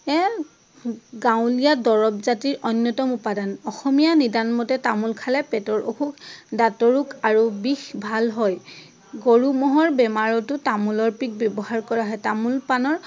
গাঁৱলীয়া দৰৱ জাতিৰ অন্যতম উপাদান । অসমীয়া নিদান মতে তামোল খালে পেটৰ অসুখ, দাঁতৰ ৰোগ আৰু বিষ ভাল হয়। গৰু মহৰ বেমাৰতো তামোলৰ পিক ব্যৱহাৰ কৰা হয়। তামোল পাণৰ